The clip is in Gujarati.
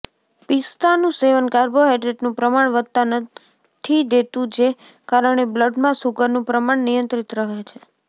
પિસ્તાનું સેવન કાર્બોહાઈડ્રેટનું પ્રમાણ વધવા નથી દેતું જે કારણે બ્લડમાં સુગરનું પ્રમાણ નિયંત્રિત રહે છે